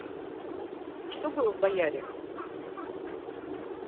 что было в бояре